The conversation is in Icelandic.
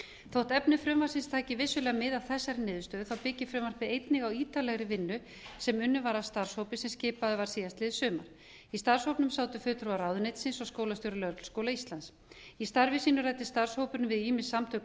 þótt efni frumvarpsins taki vissulega mið af þessari niðurstöðu byggir frumvarpið einnig á ítarlegri vinnu sem unnin var af starfshópi sem skipaður var síðastliðið sumar í starfshópnum sátu fulltrúar ráðuneytisins og skólastjóri lögregluskóla íslands í starfi sínu ræddi starfshópurinn við ýmis samtök